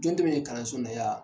Don tɛmɛn ye kalanso in na yan.